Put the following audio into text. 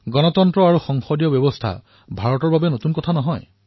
গণতন্ত্ৰ কি আৰু সংসদীয় ব্যৱস্থা কি হয় এয়া ভাৰত বাবে কোনো নতুন কথা নহয়